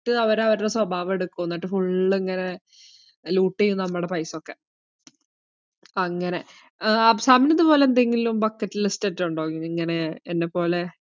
~ട്ട് അവര് അവരിടെ സ്വഭാവം എടുക്കു എന്നിട്ട് full ഇങ്ങനെ loot എയ്യും നമ്മടെ paisa യൊക്കെ, അപ്പങ്ങനെ ആഹ് അഫ്സാമിന് ഇതുപോലെ എന്തെങ്കിലും bucket list ആറ്റും ഉണ്ടോ ഇത് ഇങ്ങനെ എന്നെപ്പോലെ?